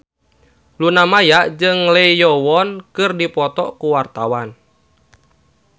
Luna Maya jeung Lee Yo Won keur dipoto ku wartawan